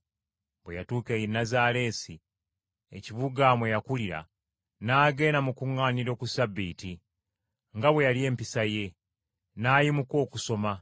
Bwe yatuuka e Nazaaleesi, ekibuga mwe yakulira, n’agenda mu kkuŋŋaaniro ku Ssabbiiti, nga bwe yali empisa ye. N’ayimuka okusoma.